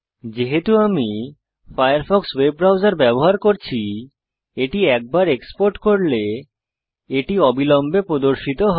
যেহেতু আমি Firefox web browser ব্যবহার করছি একবার এটি এক্সপোর্ট করলে এটি অবিলম্বে প্রদর্শিত হয়